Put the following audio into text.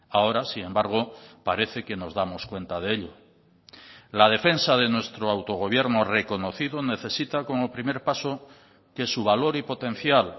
ahora sin embargo parece que nos damos cuenta de ello la defensa de nuestro autogobierno reconocido necesita como primer paso que su valor y potencial